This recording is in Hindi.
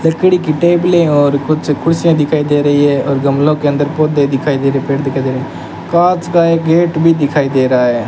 लकड़ी की टेबले और कुछ कुर्सियां दिखाई दे रही है और गमलो के अंदर पौधे दिखाई दे रहे हैं पेड़ दिखाई दे रहे हैं कांच का एक गेट भी दिखाई दे रहा है।